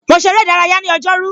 Mo ṣe ère ìdárayá ní ọjọ́ rú.